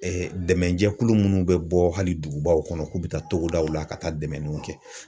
dɛmɛnjɛkulu munnu bɛ bɔ hali dugubaw kɔnɔ k'u bɛ taa togodaw la ka taa dɛmɛniw kɛ